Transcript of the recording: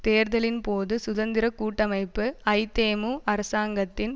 தேர்தலின் போது சுதந்திர கூட்டமைப்பு ஐதேமு அரசாங்கத்தின்